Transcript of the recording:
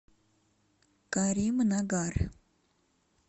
каримнагар